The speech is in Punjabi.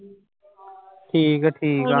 ਠੀਕ ਹੈ ਠੀਕ ਹੈ।